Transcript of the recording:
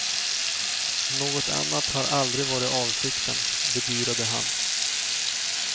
Något annat hade aldrig varit avsikten, bedyrade han.